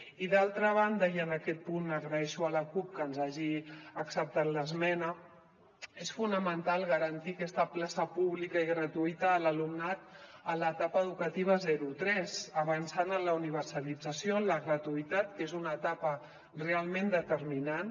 i d’altra banda i en aquest punt agraeixo a la cup que ens hagi acceptat l’esmena és fonamental garantir aquesta plaça pública i gratuïta a l’alumnat en l’etapa educativa zero tres avançant en la universalització en la gratuïtat que és una etapa realment determinant